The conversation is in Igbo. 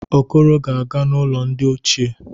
Okoro ga-aga n'ulo ndi ochie.